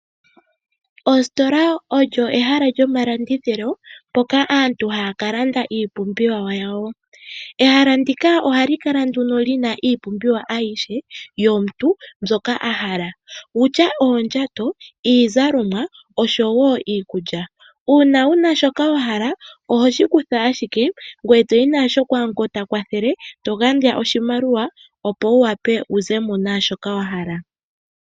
Oositola olyo ehala lyo malindithilo mpoka aantu hakalanda iipumbiwa yawo, ehala ndika ohali kala nduno lina iipumbiwa ayishe yomuntu mbyoka ahala wutya oondjato, iizalomwa oshowo iikulya, uuna wuna shoka wahala oho shikutha ashike ngwee toyi nasho kwa ngo ta kwathele togandja oshimaliwa opo wuwape wuzemo naashoka wahala.